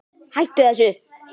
Hættu þessu!